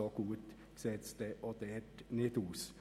So gut sieht es also auch dort nicht aus.